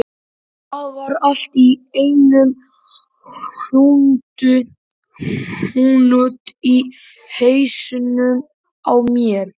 Það var allt í einum hnút í hausnum á mér.